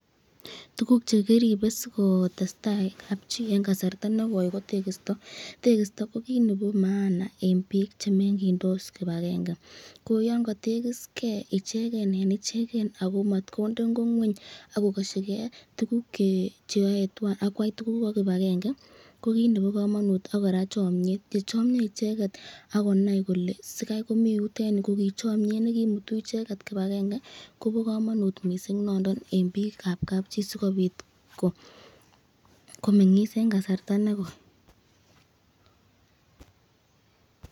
Tukuk chekimine sikotestai kab chii en kasarta nekoi ko tekisto, tekisto ko kiit nebo maana en biik chemengyindos kibakenge, ko yoon kotekiskee icheken en icheken ak ko motkonde ing'o ngweny ak ko kosyiikee tukuk cheyoe twan ak kwaii tukuk ko kibakenge ko kiit nebokomonut ak kora chomnyet, yechomnyo icheket ak konai kole sikai komii yutet yuu ko kii chomnyet nekimutu icheket kibakenge ko bokomonut mising nondon en biikab kab chii sikobit komeng'is en kasarta nekoi.